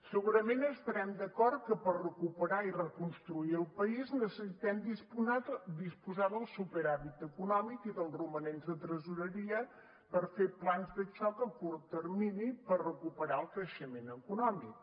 segurament estarem d’acord que per recuperar i reconstruir el país necessitem disposar del superàvit econòmic i dels romanents de tresoreria per fer plans de xoc a curt termini per recuperar el creixement econòmic